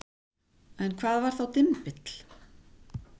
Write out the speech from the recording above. En hvað var þá dymbill?